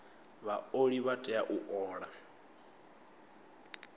vhaoli vha tea u ola